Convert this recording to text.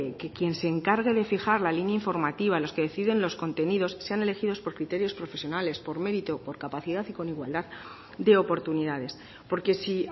que quien se encargue de fijar la línea informativa los que deciden los contenidos sean elegidos por criterios profesionales por mérito por capacidad y con igualdad de oportunidades porque si